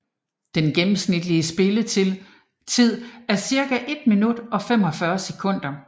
Den gennemsnitlige spilletid er cirka 1 minut og 45 sekunder